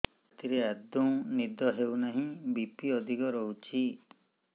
ରାତିରେ ଆଦୌ ନିଦ ହେଉ ନାହିଁ ବି.ପି ଅଧିକ ରହୁଛି